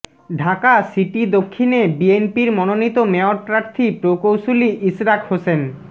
Dhaka city দক্ষিণে বিএনপির মনোনীত মেয়র প্রার্থী প্রকৌশলী ইশরাক হোসেন